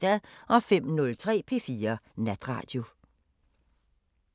05:03: P4 Natradio